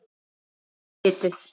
Æ, þið vitið.